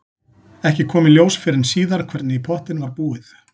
Ekki kom í ljós fyrr en síðar hvernig í pottinn var búið.